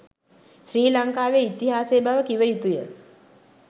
ශ්‍රී ලංකාවේ ඉතිහාසය බව කිව යුතු ය.